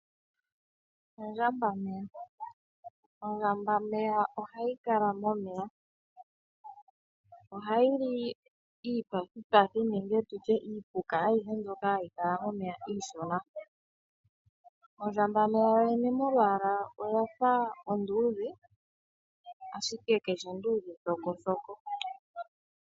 Ondjambameya, ondjambameya ohayi kala momeya ohayi li iipathipathi nenge tutye iipuk mbyoka hayi kala momeya iishona. Ondjambameya yoyene molwaalanoyafa onduudhe ashike kayishi oonduudhe thokothoko.